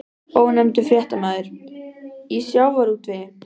Ónefndur fréttamaður: Í sjávarútvegi?